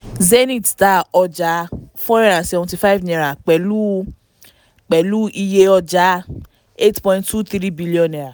zenith ta ọjà four hundred and seventy five naira pẹ̀lú pẹ̀lú iye ọjà eight point two three billion naira.